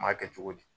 N m'a kɛ cogo di